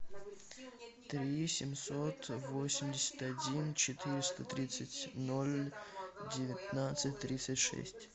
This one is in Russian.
три семьсот восемьдесят один четыреста тридцать ноль девятнадцать тридцать шесть